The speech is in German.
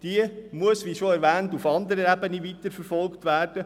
Diese muss – wie schon erwähnt – auf anderer Ebene weiterverfolgt werden.